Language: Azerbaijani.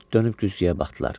Dönüb güzgüyə baxdılar.